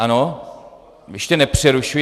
Ano, ještě nepřerušuji.